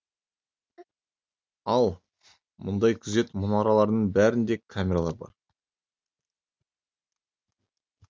ал мұндай күзет мұнараларының бәрінде камералар бар